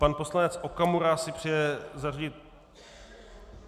Pan poslanec Okamura si přeje zařadit...